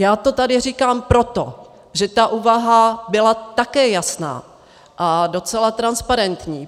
Já to tady říkám proto, že ta úvaha byla také jasná a docela transparentní.